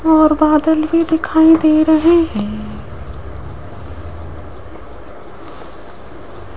और बादल भी दिखाई दे रहे हैं।